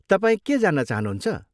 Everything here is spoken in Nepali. तपाईँ के जान्न चाहनुहुन्छ?